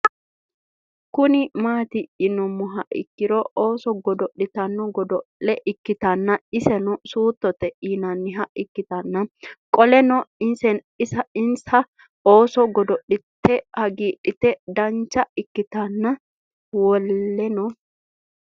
Kuni mati yinumoha ikiro ooso godoli'tanno godol'e ikitana iseno suutote yinaniha ikitana qoleno insa ooso godoli'te hagidhate dancha ikitana wolena